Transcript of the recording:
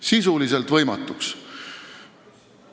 Sisuliselt võimatuks!